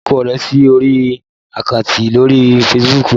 Fi orúkọ rẹ lórí àkáǹtì rẹ lórí Facebook